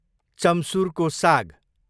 चम्सुरको साग